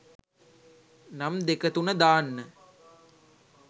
නම් දෙකතුන දාන්න